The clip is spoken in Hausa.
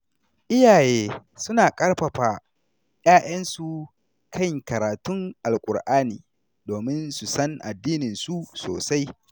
Iyaye suna ƙarfafa ‘ya’yansu kan karatun Alƙur’ani domin su san addininsu sosai.